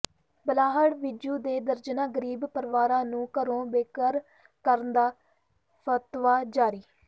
ਬਲਾਹੜ੍ਹ ਵਿੰਝੂ ਦੇ ਦਰਜਨਾਂ ਗ਼ਰੀਬ ਪਰਿਵਾਰਾਂ ਨੂੰ ਘਰੋਂ ਬੇਘਰ ਕਰਨ ਦਾ ਫ਼ਤਵਾ ਜਾਰੀ